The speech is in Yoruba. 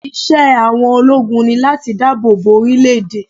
Iṣẹ́ àwọn ológun ni láti dáàbò bo orílẹ̀ èdè.